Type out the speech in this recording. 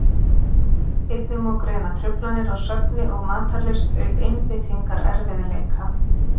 Einnig má greina truflanir á svefni og matarlyst auk einbeitingarerfiðleika.